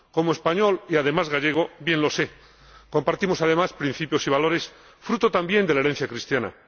Como español y, además, gallego, bien lo sé. Compartimos, además, principios y valores fruto también de la herencia cristiana.